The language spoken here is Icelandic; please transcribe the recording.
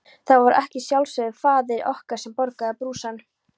Það var að sjálfsögðu faðir okkar sem borgaði brúsann.